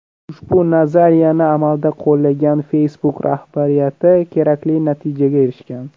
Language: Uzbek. Ushbu nazariyani amalda qo‘llagan Facebook rahbariyati kerakli natijaga erishgan.